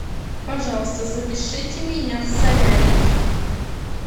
пожалуйста запишите меня в солярий